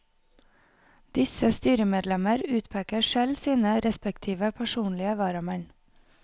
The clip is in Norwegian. Disse styremedlemmer utpeker selv sine respektive personlige varamenn.